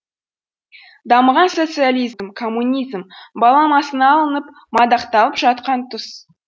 дамыған социализм коммунизм баламасына алынып мадақталып жатқан тұс